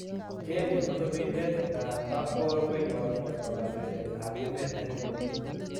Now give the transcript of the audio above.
Jane ne kosibindet an Park ko rubewot ab kondoidet ab emet an inguni.